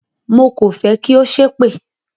Mo kò fẹ́ kí ó ṣépè!